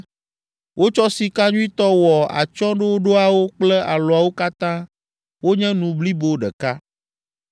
Wotsɔ sika nyuitɔ wɔ atsyɔ̃ɖoɖoawo kple alɔawo katã wonye nu blibo ɖeka.